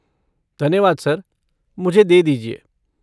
धन्यवाद सर, मुझे दे दीजिए।